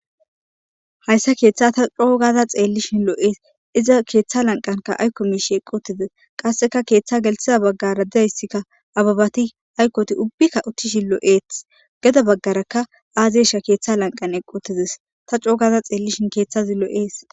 hayssa keeththa ta coogada xeellishin loo7ees iza keeththa lanqanka ayko miishi eqotize qasseka keeththa gelthiza baggara didayssikka ababati aykoti ubbikka uthchishi loo7eeth geda baggarakka aazeesha keeththa lanqan eqqotizis ta coogaza xeellishin keeththazi loo7ees